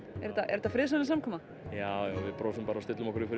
er þetta er þetta friðsamleg samkoma já við brosum bara og stillum okkur upp